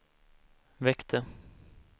väckte